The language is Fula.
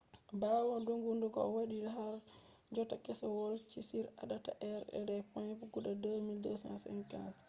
ɓawo doggugo o waɗi harjotta keselowski on ardata be points guda 2,250